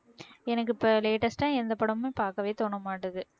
எனக்கு இப்ப latest ஆ எந்த படமும் பாக்கவே தோண மாட்டேங்குது